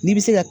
N'i bi se ka